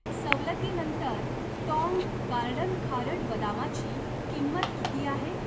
सवलतीनंतर Tong Garden खारट बदामाची किंमत किती आहे?